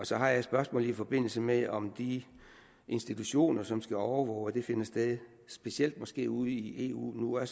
så har jeg et spørgsmål i forbindelse med om de institutioner som skal overvåge om det finder sted specielt måske ude i eu nu er